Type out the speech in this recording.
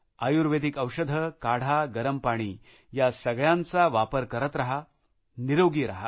आयुर्वेदिक औषधे काढा गरम पाणी या सगळ्याचा वापर करत रहा निरोगी रहा